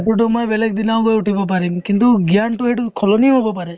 photo তো মই বেলেগ দিনাও গৈ উঠিব পাৰিম কিন্তু জ্ঞানতো সেইটো সলনি হ'ব পাৰে